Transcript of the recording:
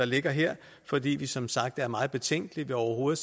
ligger her fordi vi som sagt er meget betænkelige ved overhovedet